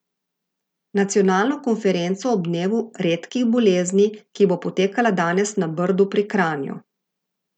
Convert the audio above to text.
Nacionalno konferenco ob dnevu redkih bolezni, ki bo potekala danes na Brdu pri Kranju.